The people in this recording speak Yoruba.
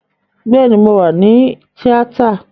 Bẹ́ẹ̀ni, mo wà ní tíátà